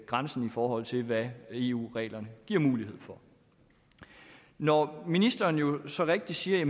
grænsen i forhold til hvad eu reglerne giver mulighed for når ministeren jo så rigtigt siger at